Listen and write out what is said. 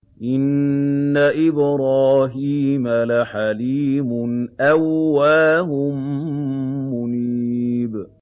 إِنَّ إِبْرَاهِيمَ لَحَلِيمٌ أَوَّاهٌ مُّنِيبٌ